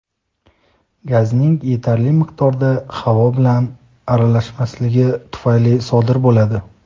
gazning yetarli miqdorda havo bilan aralashmasligi tufayli sodir bo‘ladi.